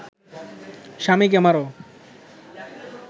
স্বামীকে মারো